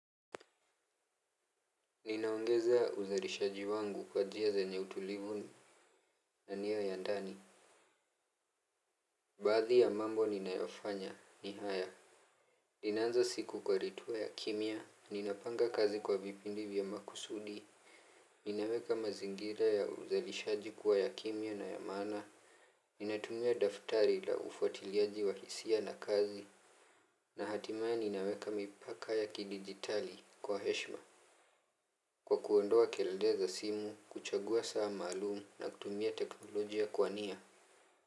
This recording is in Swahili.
Ninaongeza uzalishaji wangu kwa njia zenye utulivu na niya ya ndani. Baadhi ya mambo ninayofanya ni haya. Ninaanza siku kwa ritua ya kimya, ninapanga kazi kwa vipindi vya makusudi. Ninaweka mazingira ya uzalishaji kuwa ya kimya na ya maana. Ninatumia daftari la ufuatiliaji wa hisia na kazi. Na hatimaya ninaweka mipaka ya kidigitali kwa heshima kwa kuondoa kelelevza simu, kuchagua saa maalumu na kutumia teknolojia kwa nia.